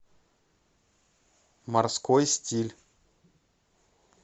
морской стиль